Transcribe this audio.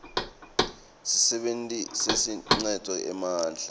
sisebenti lesiniketwe emandla